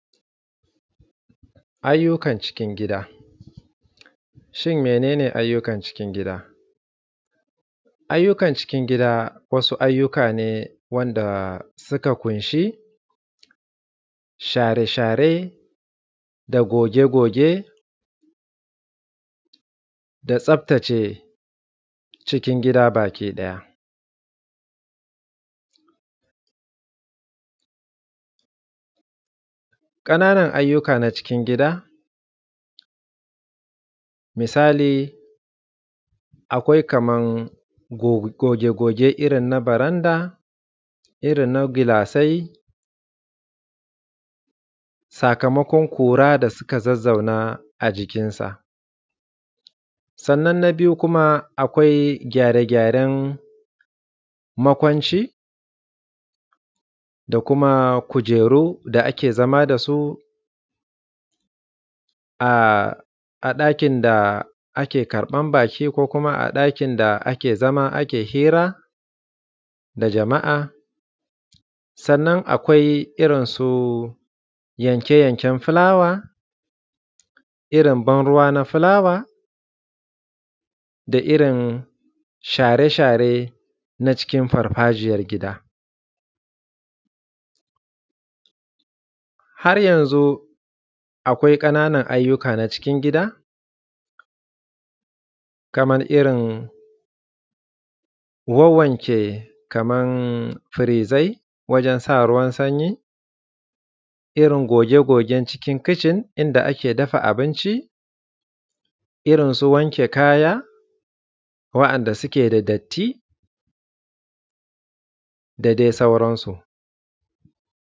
Ayyukan cikin gida. Shin mene ne ayyukan cikin gida? Ayyukan cikin gida wasu ayyuka ne wanda suka ƙunshi share-share da goge-goge da tsaftace cikin gida bakiɗaya; ƙanan ayyuka na cikin gida misali akwai kaman goge-goge irin na faranda, irin na gilasai sakamakon ƙura da suka zazzauna a jikinsa. Sannan na biyu kuma akwai gyare-gyaren makwanci da kuma kujeru da ake zama da su a ɗakin da ke karɓan baƙi ko kuma a ɗakin da ake zama a hira da jama‘a, sannan akwai irin su yanke-yanken filawa irin ban ruwa na filawa, da irin share-share na cikin irin farfajiyan gida har yanzu akwai ƙanan ayyuka na cikin gida kaman irin wanke-wanke kaman irin firizai, wajen sa ruwan sanyi, irin goge-gogen cikin kicin inda ake dafa abinci gorin su wanke kaya waɗanda suke da datti da dai sauransu.